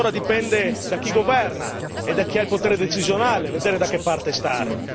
Ora dipende da chi governa e da chi ha il potere decisionale vedere da che parte stare.